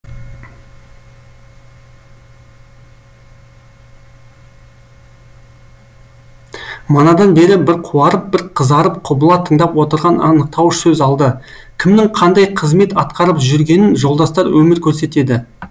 манадан бері бір қуарып бір қызарып құбыла тыңдап отырған анықтауыш сөз алды кімнің қандай кызмет атқарып жүргенін жолдастар өмір көрсетеді